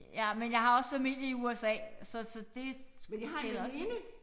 Ja men jeg har også familie i USA så så det tæller også lidt